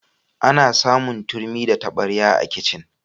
Ana samun turmi da tabarya a kicin.